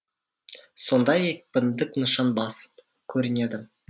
сонда екпіндік нышан басым көрінеді